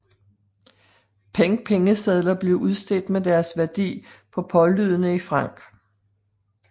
Peng Pengesedler blev udstedt med deres værdi pålydende i francs